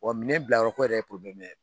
Wa minɛn bila yɔrɔko yɛrɛ ye ye.